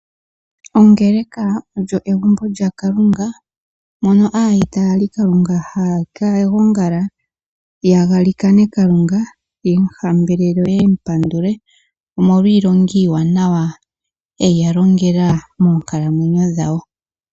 Ongeleka olyo egumbo lyaKalunga moka aayitaali Kalunga haaka gongala taya ka hambelela Kalunga yemu hambelele yo yemu hambelele yo yemu pandule omolwa iilonga iiwanawa eya longela moonkalamwenyo dhawo.